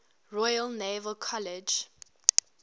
royal naval college